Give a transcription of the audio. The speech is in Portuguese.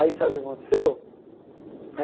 Aí sabe o que aconteceu?